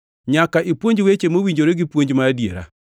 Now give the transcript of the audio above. Nyaka ipuonj weche mowinjore gi puonj ma adiera.